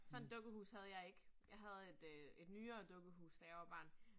Sådan et dukkehus havde jeg ikke. Jeg havde et øh et nyere dukkehus, da jeg var barn